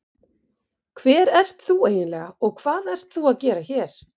Hver ert þú eiginlega og hvað ert þú að gera hér?